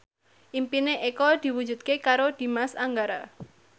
impine Eko diwujudke karo Dimas Anggara